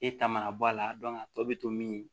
E ta mana bɔ a la a tɔ bɛ to min